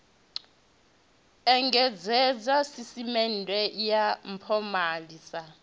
engedzedza sisiṱeme ya mpomali sa